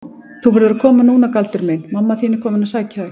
Þú verður að koma núna Galdur minn, mamma þín er komin að sækja þig.